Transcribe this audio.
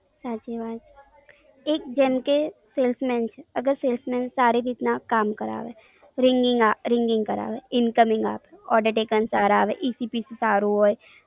સાચી વાત, એક જેમકે order છે અગર salesman સારી રીત ના કામ કરાવે. ringing આ ringing કરાવે. incoming આપે order taken સારા આવે EPC સારું હોય.